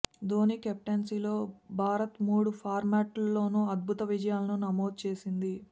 ధోనీ కెప్టెన్సీలో భారత్ మూడు ఫార్మాట్లలోనూ అద్భుత విజయాలను నమోదు చేసింది